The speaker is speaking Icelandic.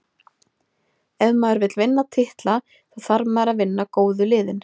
Ef maður vill vinna titla, þá þarf maður að vinna góðu liðin.